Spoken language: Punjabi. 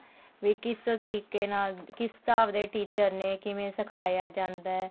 ਵੀ ਕਿਸ ਤਰੀਕੇ ਨਾਲ ਕਿਸ ਹਿਸਾਬ ਦੇ teacher ਨੇ ਕਿਵੇਂ ਸਿਖਾਇਆ ਜਾਂਦਾ